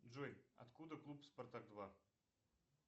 джой откуда клуб спартак два